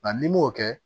n'i m'o kɛ